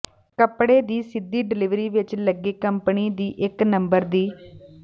ਕੱਪੜੇ ਦੀ ਸਿੱਧੀ ਡਲਿਵਰੀ ਵਿਚ ਲੱਗੇ ਕੰਪਨੀ ਦੀ ਇੱਕ ਨੰਬਰ ਦੀ